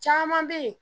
Caman bɛ yen